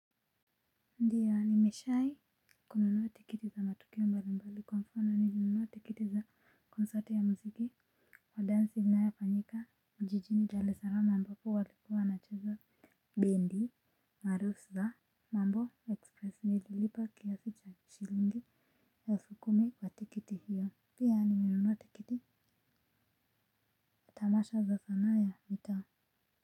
Ndiyo ni meshai kununua tikiti za matukio mbali mbali kwa mfano nilinunua tikiti za concert ya mziki wa dansi inayafanyika mjijini daler salamu ambapo walikuwa wana cheza bindi, maarufu za mambo ekspresi nililipa kiasi cha shilingi elfu kumi kwa tikiti hiyo. Pia nimenunua tikiti tamasha za sanaa ya mitaa.